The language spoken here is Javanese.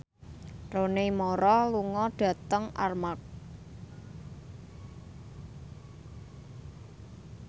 Rooney Mara lunga dhateng Armargh